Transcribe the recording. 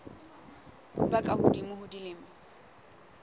ba ka hodimo ho dilemo